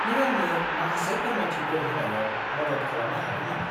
नों आंनो माखासे फोरमायथिफोर होनायाव मदद खालामनो हागोन नामा?